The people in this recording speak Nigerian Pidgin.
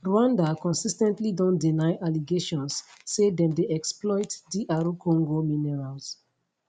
rwanda consis ten tly don deny allegations say dem dey exploit dr congo minerals